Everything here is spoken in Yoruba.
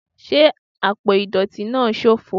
Ṣe apo idọti naa ṣofo